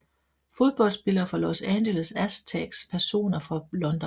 Fodboldspillere fra Los Angeles Aztecs Personer fra London